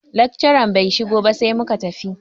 Lakcaran bai shigo ba sai muka tafi.